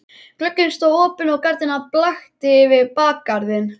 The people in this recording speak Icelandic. Glugginn stóð opinn og gardínan blakti yfir bakgarðinn.